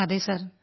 അതെ സർ